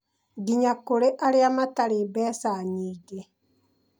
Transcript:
Nginya kũrĩ arĩa matarĩ mbeca nyingĩ.